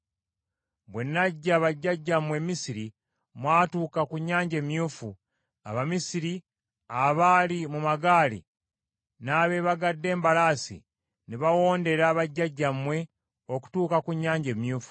Bwe naggya bajjajjammwe e Misiri mwatuuka ku Nnyanja Emyufu. Abamisiri abaali mu magaali, n’abeebagadde embalaasi ne bawondera bajjajjammwe okutuuka ku Nnyanja Emyufu.